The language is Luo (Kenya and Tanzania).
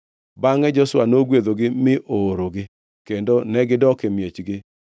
Bangʼe Joshua nogwedhogi mi oorogi, kendo negidok e miechgi.